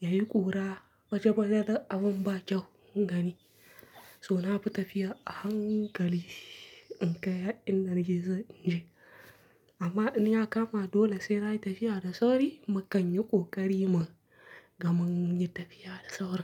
yayi ƙura baje-baje da abin bakyau in gani. So na fi tafiya a hankali in kai inda nake so in je. Amma in ya kama dole sai nayi tafiya da sauri, makanyi ƙoƙari man gama yin tafiya da sauri.